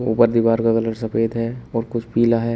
ऊपर दीवार का कलर सफेद है और कुछ पिला है।